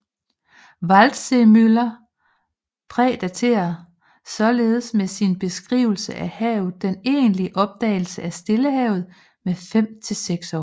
Waldseemüller prædaterer således med sin beskrivelse af havet den egentlige opdagelsen af Stillehavet med fem til seks år